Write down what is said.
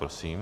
Prosím.